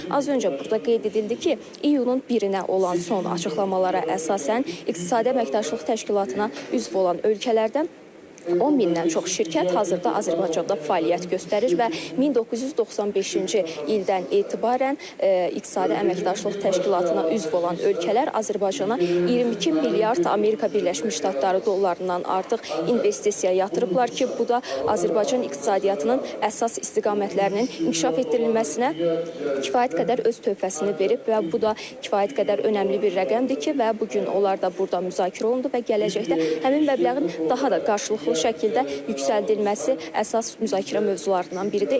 Və az öncə burda qeyd edildi ki, iyulun birinə olan son açıqlamalara əsasən, İqtisadi Əməkdaşlıq Təşkilatına üzv olan ölkələrdən 10 mindən çox şirkət hazırda Azərbaycanda fəaliyyət göstərir və 1995-ci ildən etibarən İqtisadi Əməkdaşlıq Təşkilatına üzv olan ölkələr Azərbaycana 22 milyard Amerika Birləşmiş Ştatları dollarından artıq investisiya yatırıblar ki, bu da Azərbaycan iqtisadiyyatının əsas istiqamətlərinin inkişaf etdirilməsinə kifayət qədər öz töhfəsini verib və bu da kifayət qədər önəmli bir rəqəmdir ki, və bu gün onlar da burda müzakirə olundu və gələcəkdə həmin məbləğin daha da qarşılıqlı şəkildə yüksəldilməsi əsas müzakirə mövzularından biridir.